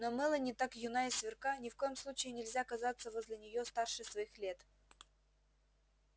но мелани так юна и сверка ни в коем случае нельзя казаться возле неё старше своих лет